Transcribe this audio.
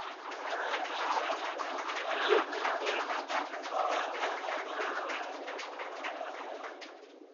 бонни и клайд